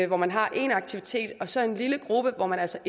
hvor man har én aktivitet og så en lille gruppe hvor man altså